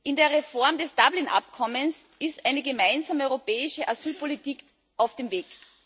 In der Reform des Dublin Abkommens ist eine gemeinsame europäische Asylpolitik auf dem Weg.